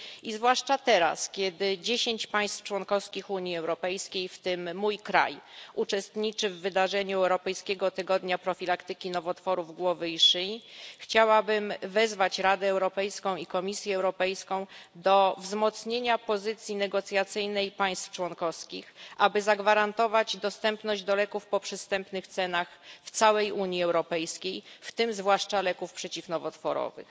I zwłaszcza teraz, kiedy dziesięć państw członkowskich Unii Europejskiej, w tym mój kraj, uczestniczy w wydarzeniu Europejskiego Tygodnia Profilaktyki Nowotworów Głowy i Szyi, chciałabym wezwać Radę Europejską i Komisję Europejską do wzmocnienia pozycji negocjacyjnej państw członkowskich, aby zagwarantować dostępność leków po przystępnych cenach w całej Unii Europejskiej, w tym zwłaszcza leków przeciwnowotworowych.